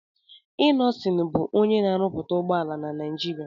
Innọsịn bù onyé na-árúpúta ụgbọala na Nijiria